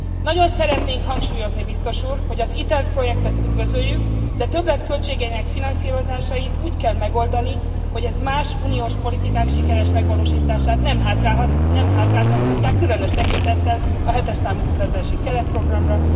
Nagyon szeretnénk hangsúlyozni, biztos úr, hogy az ITER projektet üdvözöljük, de többletköltségeinek finanszírozásait úgy kell megoldani, hogy ez más uniós politikák sikeres megvalósítását nem hátráltathatják, különös tekintettel a 7 es számú kutatási keretprogramra.